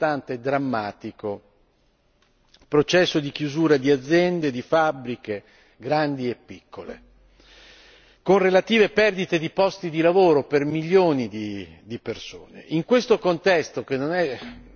in poi abbiamo assistito a un costante e drammatico processo di chiusura di aziende, di fabbriche, grandi e piccole, con relative perdite di posti di lavoro per milioni di persone.